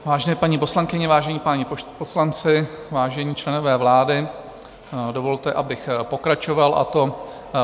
Vážené paní poslankyně, vážení páni poslanci, vážení členové vlády, dovolte, abych pokračoval, a to